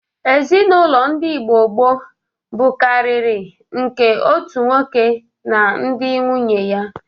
Ezinaụlọ n'Igbo gboo bụkarịrị nke otu nwoke na ndị nwunye ya.